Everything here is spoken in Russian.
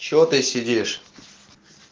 что ты сидишь